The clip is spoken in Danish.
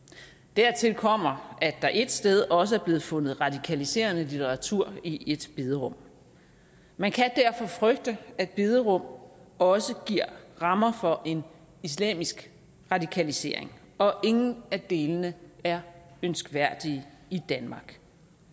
dertil kommer at der ét sted også er blevet fundet radikaliserende litteratur i et bederum man kan derfor frygte at bederum også giver rammer for en islamisk radikalisering og ingen af delene er ønskværdige i danmark